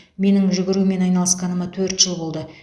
менің жүгірумен айналысқаныма төрт жыл болды